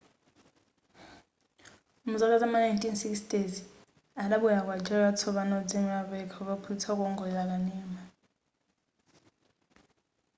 muzaka zam'ma 1960 adabwelera ku algeria watsopano odziimira payekha kukaphunzitsa kuwongolera kanema